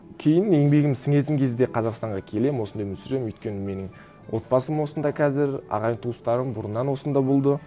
кейін еңбегім сіңетін кезде қазақстанға келемін осында өмір сүремін өйткені менің отбасым осында қазір ағайын туыстарым бұрыннан осында болды